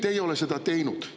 Ei, te ei ole seda teinud.